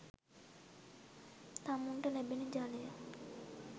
තමුන්ට ලැබෙන ජලය